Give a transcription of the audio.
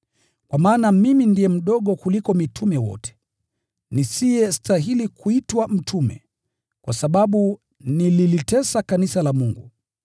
Kwa maana mimi ndiye mdogo kuliko mitume wote, nisiyestahili kuitwa mtume, kwa sababu nililitesa kanisa la Mungu.